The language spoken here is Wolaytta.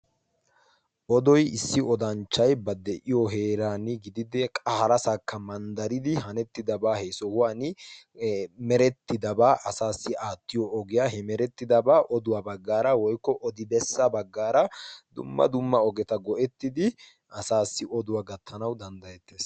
Odoy issi odanchchay ba de7iyo heeran gididi qa harasakka manddaridi hanettidabaa he sohuwan merettidabaa asaassi aattiyo ogiyaa.he merettidabaa oduwaa baggaara woykko odi bessa baggaara dumma dumma ogeta go7ettidi asaassi oduwaa gattanawu danddayettees.